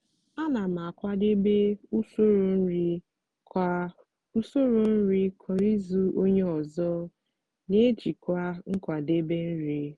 ana m akwadebe usoro nri kwa usoro nri kwa izu onye ọzọ n'ejikwa nkwadebe nri.